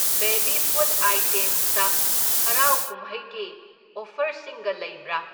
Baby food ꯑꯥꯢꯇꯦꯝꯁꯇ ꯍꯔꯥꯎ ꯀꯨꯝꯍꯩꯒꯤ ꯑꯣꯐꯔꯁꯤꯡꯒ ꯂꯩꯕ꯭ꯔꯥ?